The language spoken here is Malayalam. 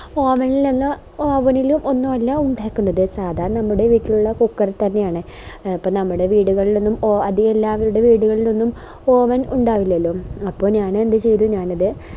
oven ഇലല്ല oven ഇൽ ഒന്നും അല്ല ഉണ്ടാക്കുന്നത് സാദാ നമ്മുടെ വീട്ടിലുള്ള cooker തന്നെയാണ് എ അപ്പൊ നമ്മുടെ വീടുകളിലൊന്നും അതികം എല്ലാവരുടെ വീടുകളിലൊന്നും oven ഉണ്ടാവില്ലല്ലോ അപ്പൊ ഞാന് എന്താ ചെയ്തേ ഞാനിത്